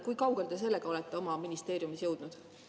Kui kaugel te sellega olete oma ministeeriumis jõudnud?